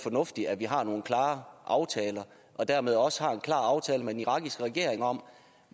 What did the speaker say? fornuftigt at vi har nogle klare aftaler og dermed også har en klar aftale med den irakiske regering om